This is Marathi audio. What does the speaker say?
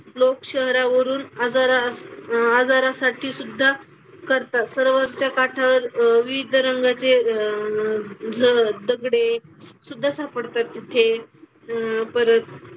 लोक शहरावरून आजारा आजारासाठी सुद्धा करतात. सरोवरच्या काठावर अह विविध रंगाचे अह ज दगडे सुद्धा सापडतात तिथे. अह परत,